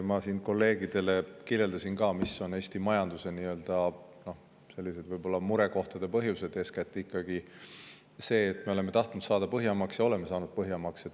Ma siin kolleegidele kirjeldasin ka, mis on Eesti majanduse selliste võib-olla murekohtade põhjused: eeskätt ikkagi see, et me oleme tahtnud saada Põhjamaaks, ja oleme saanud Põhjamaaks.